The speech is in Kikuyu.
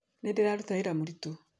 Nĩndĩraruta wĩra mũritũ